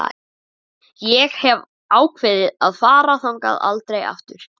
Hefur ekki áhuga á að sitja hjá honum.